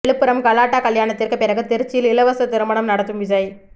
விழுப்புரம் கலாட்டா கல்யாணத்திற்கு பிறகு திருச்சியில் இலவச திருமணம் நடத்தும் விஜய்